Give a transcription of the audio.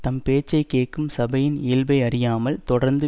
தம் பேச்சை கேட்கும் சபையின் இயல்பை அறியாமல் தொடர்ந்து